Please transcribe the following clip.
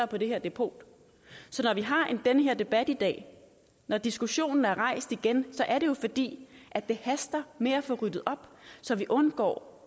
på det her depot så når vi har den her debat i dag når diskussionen er rejst igen så er det jo fordi det haster med at få ryddet op så vi undgår